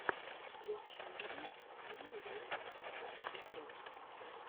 включи мне ай лов суперспорт